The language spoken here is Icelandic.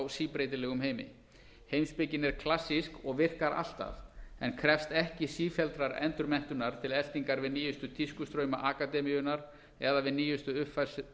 síbreytilegum heimi heimspekin er klassísk og virkar alltaf en krefst ekki sífelldrar endurmenntunar til eltingar við nýjustu tískustrauma akademíunnar eða við nýjustu uppfærslur